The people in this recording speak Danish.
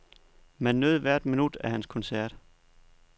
Man nød hvert minut af hans koncert.